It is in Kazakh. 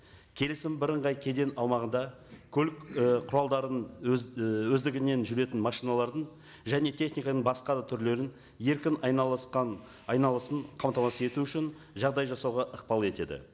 келісім бірыңғай кеден аумағында көлік і құралдарының өз і өздігінен жүретін машиналардың және техниканың басқа да түрлерін еркін айналысқан айналысын қамтамасыз ету үшін жағдай жасауға ықпал етеді